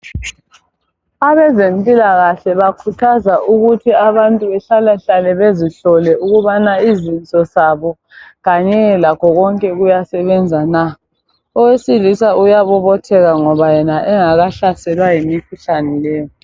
Abezempilakahle bakhuthaza ukubana abantu behlalahlale bezihlole ukubana izinso zabo kanye lakho konke kuyasebenza na owesilisa uyabobotheka ngoba yena engakahlaselwa yimikhuhlane le